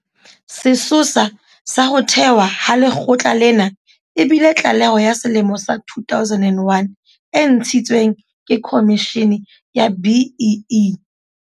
Sesosa sa ho thewa ha lekgotla lena e bile tlaleho ya selemo sa 2001 e ntshitsweng ke Khomishene ya BEE.